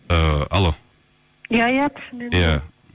ііі алло иә иә түсінемін иә